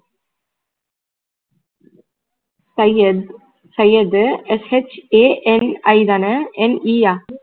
Syed Syed SHANI தான NE ஆ